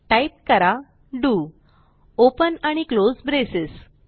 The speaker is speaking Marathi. टाईप करा डीओ ओपन आणि क्लोज ब्रेसेस